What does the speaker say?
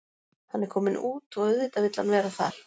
Hann er kominn út og auðvitað vill hann vera þar.